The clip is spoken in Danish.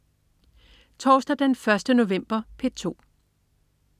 Torsdag den 1. november - P2: